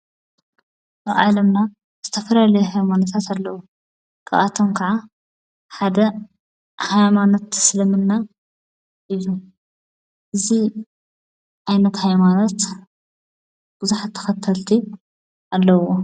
ኦዓለምና ዝተፍረል ሕይማንሳት ኣለዉ ክብኣቶም ከዓ ሓደ ሃይማነት እስልምና ኢዩ እዙ ኣይነት ሕይማነት ብዙሕ ተኸተልቲ ኣለዎ።